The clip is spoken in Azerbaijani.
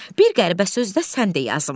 Bir qəribə söz də sən de yazım.